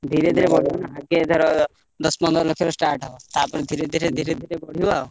ସେୟା କରିବା ଧୀରେଧୀରେ ବଢିବ ନା ଆଗେ ଧର ଦଶ ପନ୍ଦର ଲକ୍ଷରୁ start ହବ, ତାପରେ ଧୀରେ ଧୀରେ ଧୀରେ ଧୀରେ ବଢିବ ଆଉ।